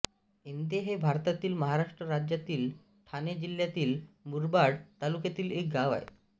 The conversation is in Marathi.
इंदे हे भारतातील महाराष्ट्र राज्यातील ठाणे जिल्ह्यातील मुरबाड तालुक्यातील एक गाव आहे